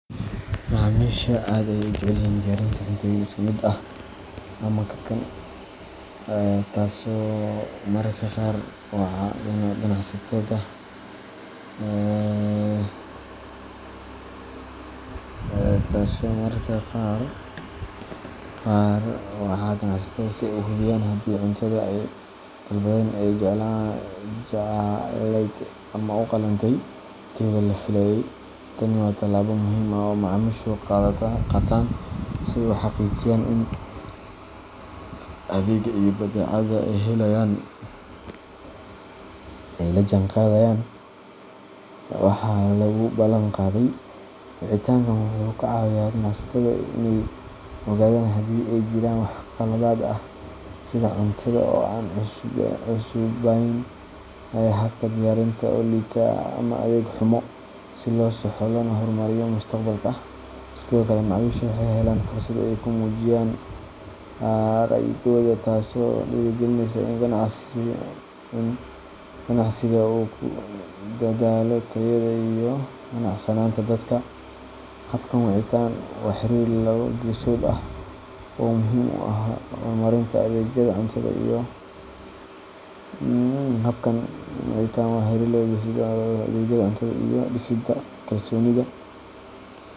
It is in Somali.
Macaamiisha aad ayey u jecelyihin diyarinta cuntoyin isku mid ah ama kakan, taso mararka qaar waca ganacsatada si ay u hubiyaan haddii cuntada ay dalbadeen ay jacelayd ama u qalantay tayada la filayay. Tani waa tallaabo muhiim ah oo ay macaamiishu qaataan si ay u xaqiijiyaan in adeegga iyo badeecada ay helayaan ay la jaanqaadayaan waxa lagu balan qaaday. Wicitaankan wuxuu ka caawiyaa ganacsatada inay ogaadaan haddii ay jiraan wax khaladaad ah, sida cuntada oo aan cusubayn, habka diyaarinta oo liita, ama adeeg xumo, si loo saxo loona horumariyo mustaqbalka. Sidoo kale, macaamiisha waxay helaan fursad ay ku muujiyaan ra’yigooda, taasoo dhiirrigelisa in ganacsiga uu ku dadaalo tayada iyo qanacsanaanta dadka. Habkan wicitaan waa xiriir laba-geesood ah oo muhiim u ah horumarinta adeegyada cuntada iyo dhisida kalsoonida .